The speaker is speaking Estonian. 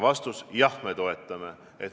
Vastus: jah, me toetame.